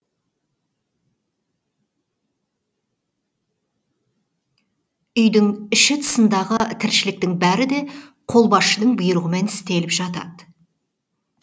үйдің іші тысындағы тіршіліктің бәрі де қолбасшының бұйрығымен істеліп жатады